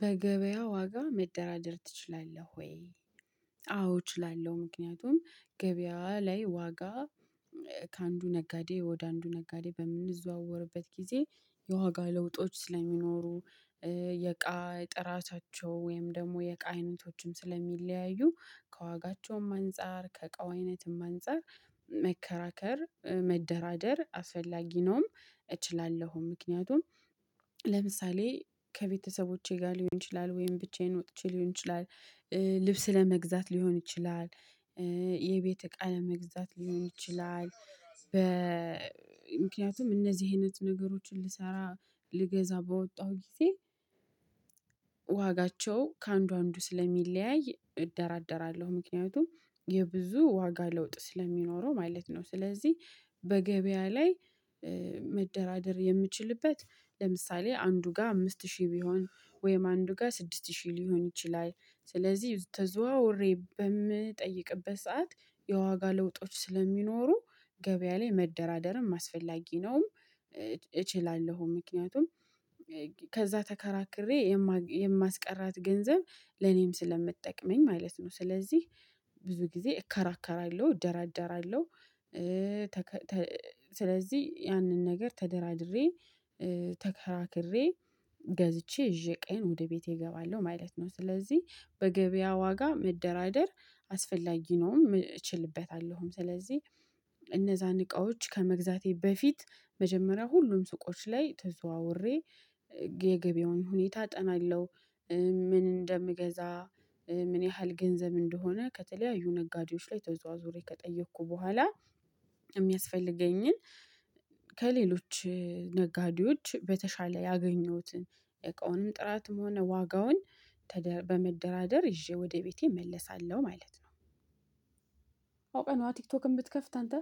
በገበያ ዋጋ መደራደር ትችላለህ? ወይ አዎ እችላለሁ። ምክንያቱም ገበያ ላይ ዋጋ ከአንዱ ነጋዴ ወደ አንዱ ነጋዴ በምንዘዋወርበት ጊዜ የዋጋ ለውጦች ስለሚኖሩ የእቃ የጥራቻቸው ወይም ደግሞ የእቃ አይነቶችም ስለሚለያዩ ከዋጋቸውም አንፃር ከቃው አይነትም አንፃር መከራከር መደራደር አስፈላጊ ነውም። እችላለሁም ምክንያቱም ለምሳሌ ከቤተሰቦቼ ጋር ሊሆን ይችላል ወይም ብቻዬን ወጥቼ ሊሆን ይችላል። ልብስ ለመግዛት ሊሆን ይችላል። የቤት እቃ ለመግዛት ሊሆን ይችላል። በ ምክንያቱም እነዚህ አይነት ነገሮችን ልሰራ ልገዛ በወጣሁ ጊዜ ዋጋቸው ከአንዱ አንዱ ስለሚለያይ እደራደራለሁ ምክንያቱም የብዙ ዋጋ ለውጥ ስለሚኖረው ማለት ነው። ስለዚህ በገበያ ላይ መደራደር የምችልበት ለምሳሌ አንዱ ጋር አምስት ሺህ ቢሆን ወይም አንዱ ጋር ስድስት ሺህ ሊሆን ይችላል ስለዚህ ተዘዋውሬ በምትጠይቅበት ሰዓት የዋጋ ለውጦች ስለሚኖሩ ገበያ ላይ መደራደርም አስፈላጊ ነውም። እችላለሁም ምክንያቱም ከዛ ተከራክሬ የማስቀራት ገንዘብ ለኔም ስለምጠቅመኝ ማለት ነው። ስለዚህ ብዙ ጊዜ እከራከራለሁ እደራደራለሁ። ስለዚህ ያንን ነገር ተደራድሬ ተከራክሬ ገዝቼ ይዤ ዕቃዬን ወደ ቤቴ እገባለሁ ማለት ነው። ስለዚህ በገበያ ዋጋ መደራደር አስፈላጊ ነውም እችልበታለሁም ስለዚህ እነዛን እቃዎች ከመግዛቴ በፊት መጀመሪያ ሁሉም ሱቆች ላይ ተዘዋውሬ የገበያውን ሁኔታ አጠናለሁ። ምን እንደምገዛ ምን ያህል ገንዘብ እንደሆነ ከተለያዩ ነጋዴዎች ላይ ተዘዋውሬ ከጠየኩ በኋላ የሚያስፈልገኝን ከሌሎች ነጋዴዎች በተሻለ ያገኘሁትን የዕቃውንም ጥራትም ሆነ ዋጋውን በመደራደር ይዤ ወደ ቤቴ እመለሳለሁ ማለት ነው። አውቀህ ነው አይደል ቲክቶክ የምትከፍት አንተ?